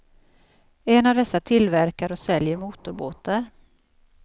En av dessa tillverkar och säljer motorbåtar.